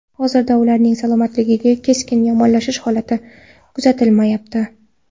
Hozircha ularning salomatligida keskin yomonlashish holati kuzatilmayapti.